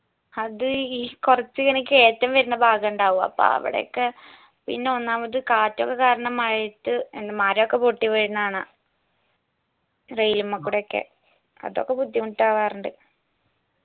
അത് ഈ കൊർച്ച് ഇങ്ങനെ കേറ്റം വെരണ ഭാഗമുണ്ടാവും അപ്പൊ അവടൊക്കെ പിന്നെ ഒന്നാമത് കാറ്റൊക്കെ കാരണം മഴയത്ത് എന്ന് മരോക്കെ പൊട്ടിവീഴ്ന്ന കാണാ rail മെ കൂടിയൊക്കെ അതൊക്കെ ബുദ്ധിമുട്ടാവർണ്ട്